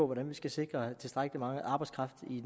hvordan vi skal sikre tilstrækkelig meget arbejdskraft i